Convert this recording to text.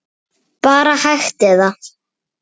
Boði Logason: Bara hægt eða?